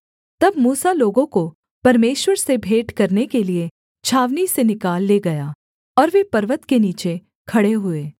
तब मूसा लोगों को परमेश्वर से भेंट करने के लिये छावनी से निकाल ले गया और वे पर्वत के नीचे खड़े हुए